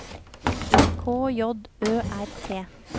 K J Ø R T